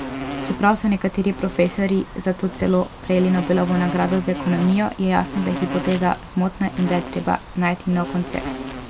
Čeprav so nekateri profesorji zato celo prejeli Nobelovo nagrado za ekonomijo, je jasno, da je hipoteza zmotna in da je treba najti nov koncept.